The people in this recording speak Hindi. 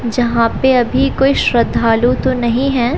जहां पे अभी कोई श्रद्धालु तो नहीं हैं।